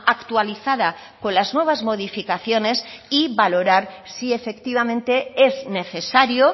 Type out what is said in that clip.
actualizada con las nuevas modificaciones y valorar si efectivamente es necesario